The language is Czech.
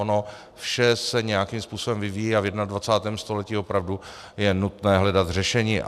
Ono vše se nějakým způsobem vyvíjí a v 21. století opravdu je nutné hledat řešení.